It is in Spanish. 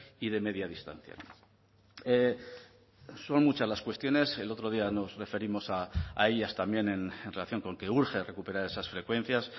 y de media distancia son muchas las cuestiones el otro día nos referimos a ellas también en relación con que urge recuperar esas frecuencias